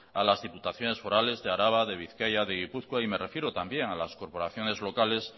a las diputaciones forales de araba de bizkaia de gipuzkoa y me refiero también a las corporaciones locales